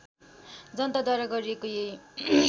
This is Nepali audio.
जनताद्वारा गरिएको यही